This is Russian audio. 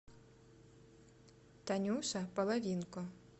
танюша половинко